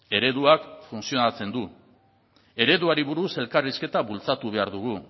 ereduak funtzionatzen du ereduari buruz elkarrizketa bultzatu behar dugu